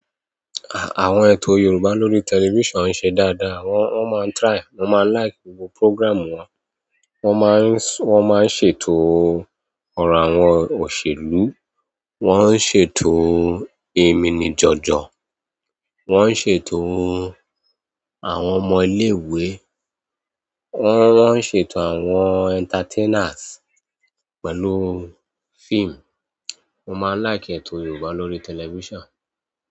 Àwọn ètò Yorùbá lórí television ń ṣe dáadáa. Wọ́n, wọ́n máa ń try, mo máa ń like gbogbo program wọn. Wọ́n máa ń, wọ́n máa ń ṣètò ọ̀rọ̀ àwọn òṣèlú, wọ́n ń ṣètò èminijọ́jọ́, wọ́n ń ṣètò àwọn ọmọ ilé ìwé, wọ́n, wọ́n ń ṣètò àwọn entertainers pẹ̀lú film. Mo máa ń like ètò Yorùbá lórí television.